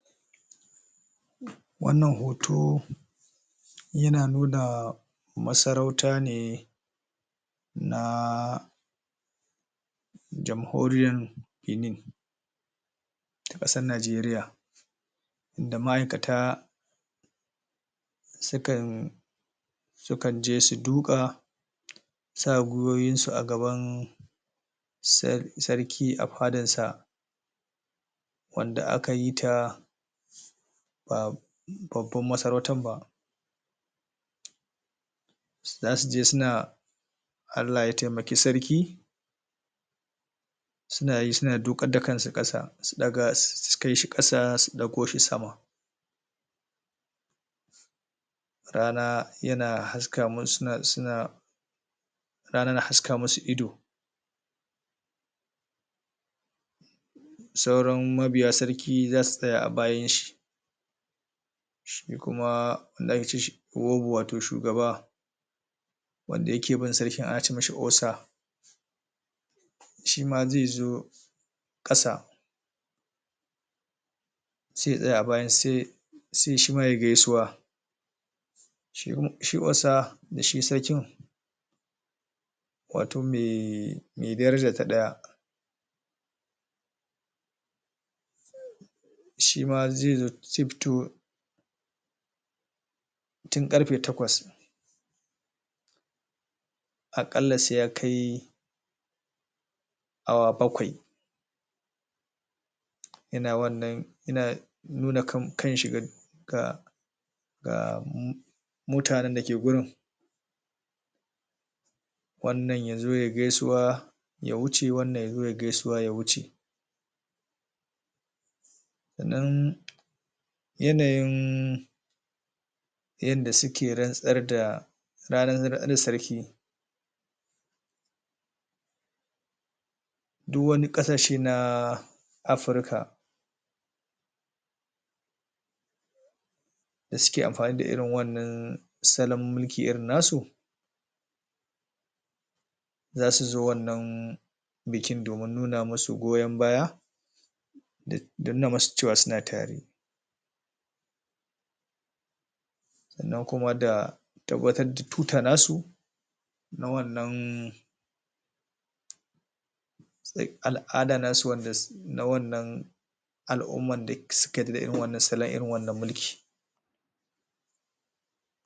wannan hoto yana nuna masaurauta ne na jamhoriyan benin, a kasan najeriya. Da ma'aikata su kan sukan je su duka su sa giwowin su a gaban sarki a fadan sa wanda aka yi ta ba baban ba sarautan ba zasu je suna Allah ya taimake sarki suna yi suna dukar da kansa kasa su daga su kai shi kasa su dago shi sama. Rana yana haska mus.. suna... rana na haska musu ido sauran mabiya sarki zasu tsaya a bayan shi shi kuma wato shugaba wanda yake bin sarki ana ce mishi osa shima zai zo kasa sai ya tsaya a baya sai shima yayi gaisuwa shi osa da shi sarkin wato mai.. me daraja ta daya shima zai fito tun ƙarfe takwas a kalla sai ya kai awa bakwai yana wannan nuna kan shi ga um gaa mutanen dake gurin wannan yazo yayi gaisuwa ya wuce wannan yazo yayi gaisuwa ya wuce. Sannan yanayin yanda suke rantsarda ranar nada sarki duk wani kasashe na afrika da suke amfani da irin wannan salon mulki irin na su zasu zo wannan bikin domin nuna musu goyon baya da nuna musu cewa suna tare sannan kuma da tabbatar da tuta nasu na wannan al'ada na wannan.. na wannan alumma da suka yarda da irin wannan salon irin wannan mulki